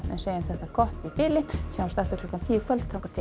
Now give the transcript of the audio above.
segjum þetta gott í bili sjáumst aftur klukkan tíu í kvöld þangað til